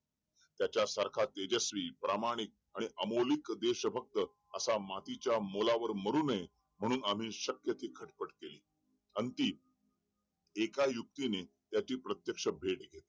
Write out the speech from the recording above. त्याच्या सारखा तेजस्वी, प्रामाणिक अमौलिक देश भक्त असा मातीच्या मोलावर मरु नये म्हणून आम्ही शक्य तितकी घडपट केली अंती एका युक्ती ने त्याची प्रत्यक्ष भेट घेतली